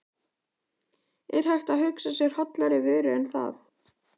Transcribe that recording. Er hægt að hugsa sér hollari vöru en það?